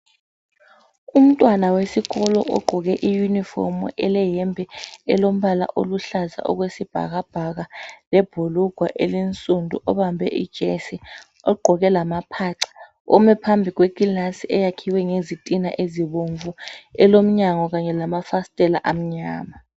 Umntwana wesikolo ugqoke iuniform eleyembe elombala oluhlaza okwesibhakabhaka lebhulugwe elinsundu ubambe ijesi ugqoke lamapatapata ume phambi kwekilasi eyakhiwe ngezitina ezibomvu elomnyango kanye lamafasiteli amnyama.